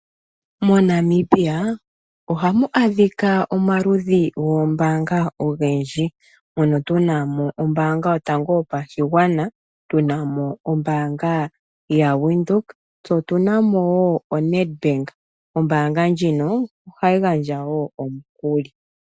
MoNamibia ohamu adhika omaludhi goombanga ogendji mono tunamo ombanga yotango yopashigwana, tunamo ombanga yawindhoek tse otunamo onetbank ombanga ndjino ohayigandja nomukuli.